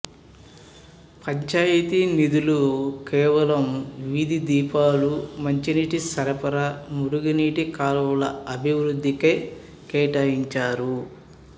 పంచాయతీ నిధులు కేవలం వీధి దీపాలూ మంచినీటి సరఫరా మురుగునీటి కాల్వల అభివృద్ధికే కేటాయించారు